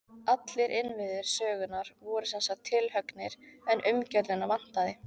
Allir innviðir sögunnar voru sem sagt tilhöggnir, en umgjörðina vantaði.